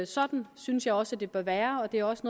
sådan synes jeg også det bør være og det er også